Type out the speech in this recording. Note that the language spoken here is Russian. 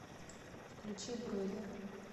включи бройлер